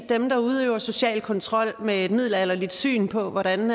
at dem der udøver social kontrol med et middelalderligt syn på hvordan